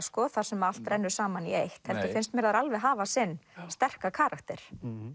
sko þar sem allt rennur saman í eitt heldur finnst mér þær alveg hafa sinn sterka karakter